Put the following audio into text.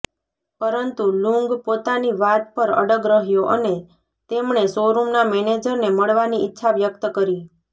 પરંતુ લુંગ પોતાની વાત પર અડગ રહ્યો અને તેમણે શોરૂમના મેનેજરને મળવાની ઈચ્છા વ્યક્ત કરી